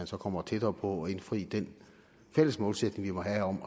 så kommer tættere på at indfri den fælles målsætning vi må have om